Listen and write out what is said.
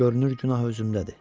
Görünür günah özümdədir.